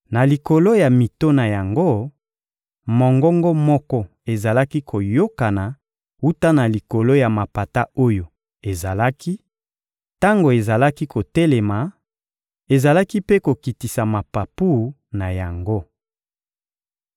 Na likolo ya mito na yango, mongongo moko ezalaki koyokana wuta na likolo ya mapata oyo ezalaki; tango ezalaki kotelema, ezalaki mpe kokitisa mapapu na yango.